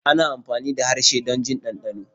ana amfani da harshe don jin dandano.